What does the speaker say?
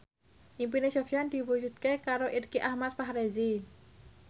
impine Sofyan diwujudke karo Irgi Ahmad Fahrezi